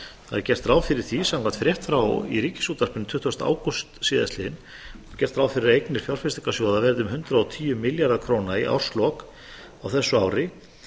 gert ráð fyrir því samkvæmt frétt í ríkisútvarpinu tuttugasta ágúst síðastliðinn gert ráð fyrir því að eignir fjárfestingarsjóða verði um hundrað og tíu milljarðar króna í árslok á þessu ári